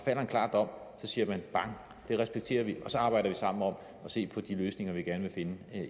klar dom siger man bang det respekterer vi og så arbejder vi sammen om at se på de løsninger vi gerne vil finde